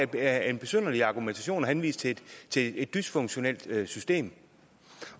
det er en besynderlig argumentation at henvise til et dysfunktionelt system